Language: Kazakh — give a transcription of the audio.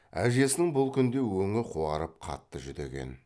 әжесінің бұл күнде өңі қуарып қатты жүдеген